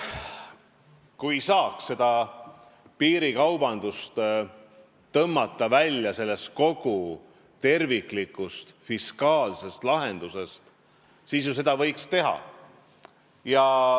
Kui saaks piirikaubanduse tõmmata välja kogu terviklikust fiskaalsest lahendusest, siis võiks seda ju teha.